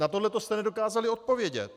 Na to jste nedokázali odpovědět.